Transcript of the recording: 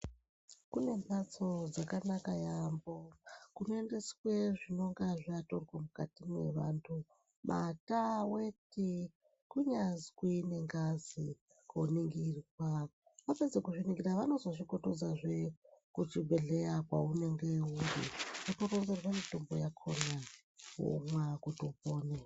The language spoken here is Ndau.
Kune mbatso dzakanaka yambo kuno endeswe zvinonge zvatorwa mukati me antu mate, weti kunyanzwi ne ngazi ko ningirwa vapedza kuzvi ningira vanozozvi petudza zve ku chibhedhleya kwaunenge uri woto ronzerwa mitombo yakona womwa woto pona.